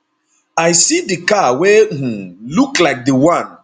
i see di car wey um look like di one